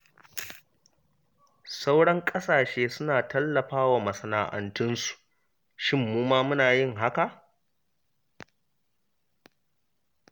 Sauran ƙasashe suna tallafa wa masana’antunsu, shin mu ma muna yin hakan?